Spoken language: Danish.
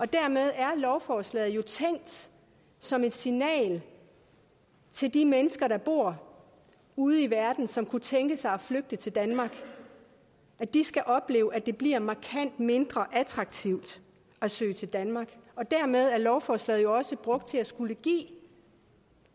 dermed er lovforslaget jo tænkt som et signal til de mennesker der bor ude i verden og som kunne tænke sig at flygte til danmark at de skal opleve at det bliver markant mindre attraktivt at søge til danmark og dermed er lovforslaget jo også brugt til at skulle give